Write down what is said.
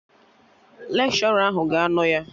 Lekshọra ahụ ga-anọ ya